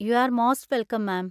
U are most welcome, ma'am.